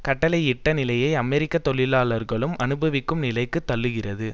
கட்டளையிட்ட நிலையை அமெரிக்க தொழிலாளர்களும் அனுபவிக்கும் நிலைக்கு தள்ளுகிறது